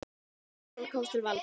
Ný stjórn komst til valda.